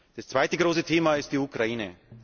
Das zweite große Thema ist die Ukraine.